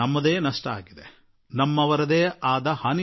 ನಷ್ಟ ನಮ್ಮದೇ ಆಗಿದೆ